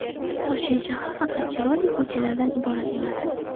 Toshkent shahri faqat chiroyli ko‘chalardan iborat emas.